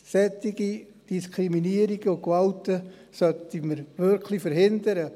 Solche Diskriminierungen und Gewalt sollten wir wirklich verhindern.